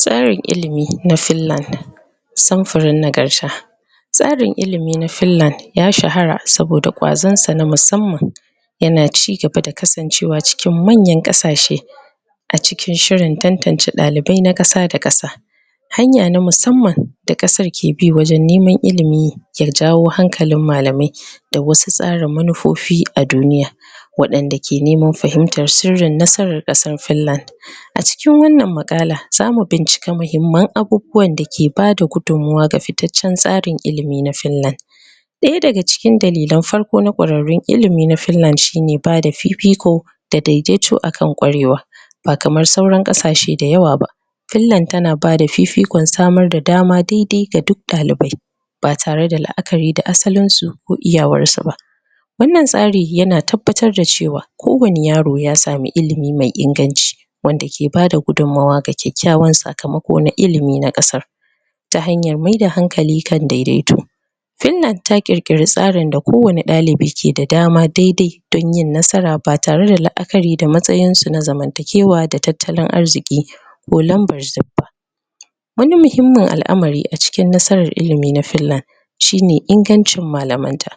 Tsarin ilimi na Finland samfurin nagarta tsarin ilimi na finland ya shahara saboda kwazon sa na musamman yana cigaba da kasancewa cikin manyan ƙasashe a cikin shirin tantance dalibai na ƙasa da ƙasa hanya na musamman da ƙasar da ke bi wajen neman ilimi da jawo hankalin malamai da wasu tsara manufofi a duniya waɗanda ke neman fahimtar sirrin nasara ƙasar Finland a cikin wannan maƙala za mu bincike muhimman abubuwan da ke bada gudummawa ga fitaccen tsarin ilimi na Finland Ɗaya daga cikin dalilan farko na kwararrun ilimi na Finland shine bada fifiko da daidaito akan kwarewa ba kamar sauran ƙasashe da yawa ba Finland tana bada fifikon samar da dama ga duk ɗalibai ba tareda la'akari da asalin su ko iyawar su ba wannan tsari yana tabbatar da cewa kowanne yaro ya sami ilimi mai inganci wanda ke bada gudummawa ga kyakyawan sakamako na ilimin kasar. ta hanyar maida hankali kan daidaitu Finland ta kirkira tsarin da kowanne ɗalibi ke da dama daidai don yin nasara ba tare da la'akari da matsayin su na zamantakewa da tattalin arziki ko lambar suffa wani muhimmin al'amari a cikin nasarar ilimi na Finland shine ingancin malamn ta.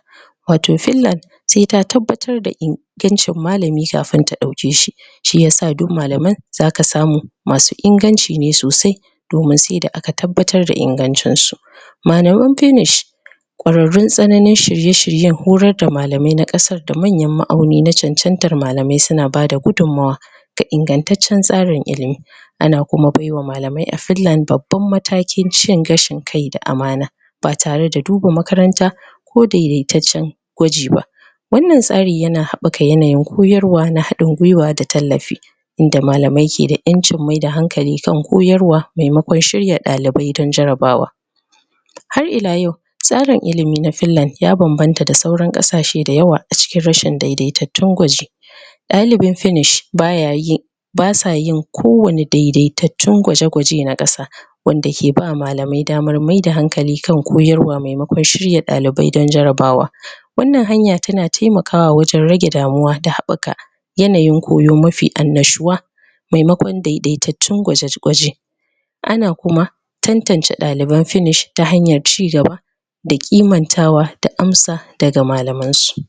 Wato Finland sai ta tabbatar da ingancin malami kafin ta ɗauke shi shiyasa duk malama zaka samu masu inganci ne sosai domin sai da aka tabbatar da ingancin su Malaman finish kwararrun tsananin shirye shiryen horar da malamai na ƙasar da manyan ma'auni na chanchantar malamai suna bada gudummawa ga ingantaccen tsarin ilimi ana kuma baiwa malamai a Finland babban matakin cin gashin kai da amana ba tare da duba makaranta ko daidaitaccen gwaji ba wannan tsari yana haɓɓaka yanayin koyarwa na hadin gwiwa da tallafi inda malamai ke da ƴancin maida hankali kan koyarwa maimakon shirya ɗalibai akan jarabawa har ila yau tsarin ilimi na Finland ya banbanta da sauran ƙasashe da yawa a cikin rashin daidaitattun gwaji ɗalibin Finish ba ya yin ba sa yin ko wani daidaitun gwaje-gwaje na ƙasa wanda ke ba malamai damar maida hankali kan koyarwa maimakon shirya dalibai kan jarabawa wannan hanya tana taimakwa wajen rage damuwa da haɓɓaka yanayin koyo mafi annashuwa maimakon daidaitattun gwaje gwaje ana kuma tantance ɗaliban Finish ta hanyar cigaba da ƙimantawa da amsa daga malaman su.